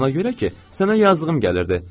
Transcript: Ona görə ki, sənə yazığım gəlirdi.